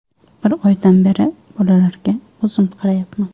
Bir oydan beri bolalarga o‘zim qarayapman.